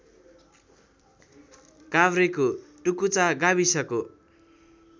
काभ्रेको टुकुचा गाविसको